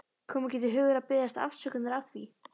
Kom ekki til hugar að biðjast afsökunar á því.